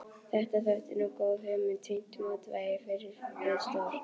Þetta þótti nú góð hugmynd, fínt mótvægi við stór